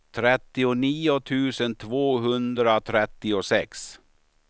trettionio tusen tvåhundratrettiosex